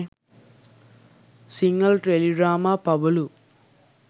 sinhala teledrama pabalu